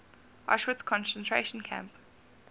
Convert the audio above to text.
auschwitz concentration camp